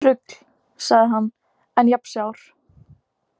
Rugl, sagði hann, enn jafn sár.